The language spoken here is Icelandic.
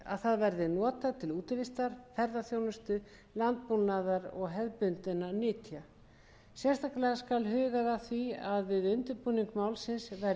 að það verði notað til útivistar ferðaþjónustu landbúnaðar og hefðbundinna nytja sérstaklega skal hugað að því við undirbúning málsins hvernig friðlýsing skjálfandafljóts